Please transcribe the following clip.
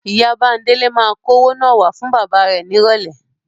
Ìyá Bándélé máa kó owó náà wá fún bàbá rẹ nírọ̀lẹ́.